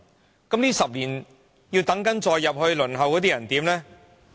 在這10年中，繼續加入輪候冊的人怎辦？